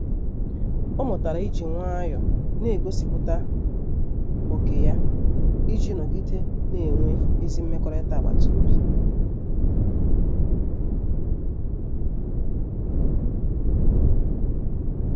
Ọ mụtara iji nwayọọ na-egosipụta ókè ya iji nọgide na-enwe ezi mmekọrịta agbata obi.